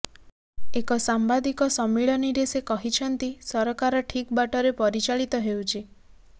ଏକ ସାମ୍ବାଦିକ ସମ୍ମିଳନୀରେ ସେ କହିଛନ୍ତି ସରକାର ଠିକ ବାଟରେ ପରିଚାଳିତ ହେଉଛି